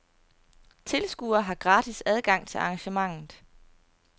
Tilskuere har gratis adgang til arrangementet.